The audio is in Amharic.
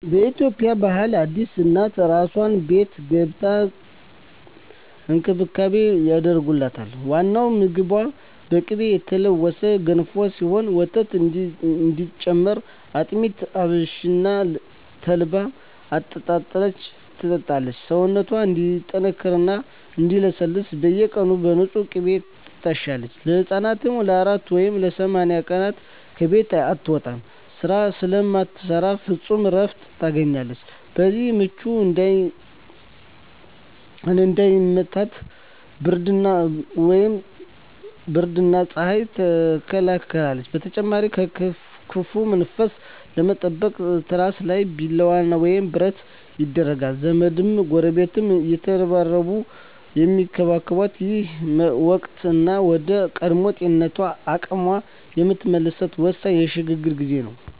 በኢትዮጵያ ባህል አዲስ እናት "አራስ ቤት" ገብታ ልዩ እንክብካቤ ይደረግላታል። ዋናው ምግቧ በቅቤ የተለወሰ ገንፎ ሲሆን፣ ወተት እንዲጨምር አጥሚት፣ አብሽና ተልባን ትጠጣለች። ሰውነቷ እንዲጠነክርና እንዲለሰልስ በየቀኑ በንፁህ ቅቤ ትታሻለች። እናትየው ለ40 ወይም ለ80 ቀናት ከቤት አትወጣም፤ ስራ ስለማትሰራ ፍጹም እረፍት ታገኛለች። በዚህ ወቅት "ምች" እንዳይመታት ብርድና ፀሐይ ትከላከላለች። በተጨማሪም ከክፉ መንፈስ ለመጠበቅ ትራሷ ስር ቢላዋ ወይም ብረት ይደረጋል። ዘመድና ጎረቤት እየተረባረበ የሚንከባከባት ይህ ወቅት፣ እናት ወደ ቀድሞ ጤናዋና አቅሟ የምትመለስበት ወሳኝ የሽግግር ጊዜ ነው።